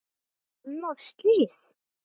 Annað slys.